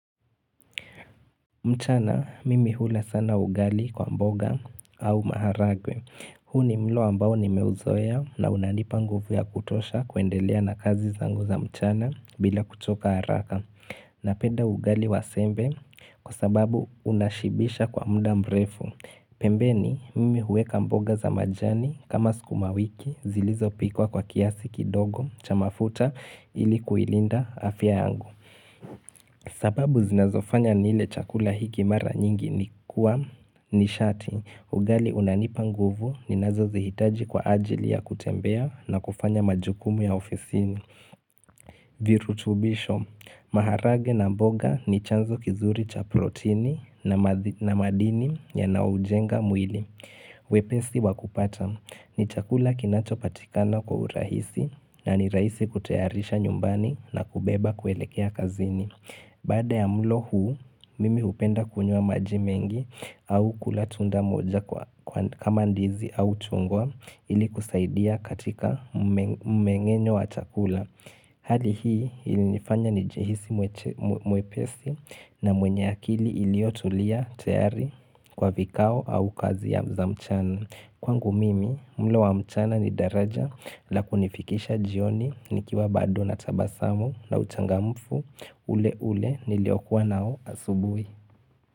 Mchana, mimi hula sana ugali kwa mboga au maharagwe. Huu ni mlo ambao ni nimeuzoea na unanipa nguvu ya kutosha kuendelea na kazi zangu za mchana bila kuchoka haraka. Napenda ugali wa sembe kwa sababu unashibisha kwa mda mrefu. Pembeni, mimi huweka mboga za majani kama sukumawiki zilizo pikwa kwa kiasi kidogo cha mafuta ili kuilinda afya yangu. Sababu zinazofanya nile chakula hiki mara nyingi ni kuwa ni sharti ugali unanipa nguvu ninazozihitaji kwa ajili ya kutembea na kufanya majukumu ya ofisini virutubisho, maharage na mboga ni chanzo kizuri cha protini na madini yanaoujenga mwili wepesi wa kupata ni chakula kinachopatikana kwa urahisi na ni rahisi kutayarisha nyumbani na kubeba kuelekea kazini Baada ya mlo huu, mimi hupenda kunywa maji mengi au kula tunda moja kama ndizi au chungwa ili kusaidia katika mmeng'enyo wa chakula. Hali hii ilinifanya nijihisi mwepesi na mwenye akili iliyotulia tayari kwa vikao au kazi ya za mchana. Kwangu mimi mlo wa mchana ni daraja la kunifikisha jioni nikiwa bado natabasamu na uchangamfu ule ule niliokuwa nao asubui.